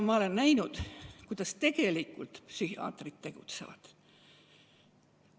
Ma olen näinud, kuidas tegelikult psühhiaatrid tegutsevad.